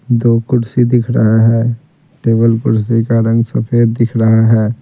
दो कुर्सी दिख रहा है टेबल कुर्सी का रंग सफ़ेद दिख रहा है।